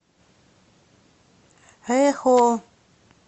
эхо